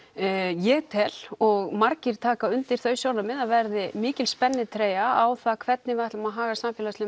ég tel og margir taka undir þau sjónarmið að verði mikil spennitreyja á það hvernig við ætlum að haga samfélagslegum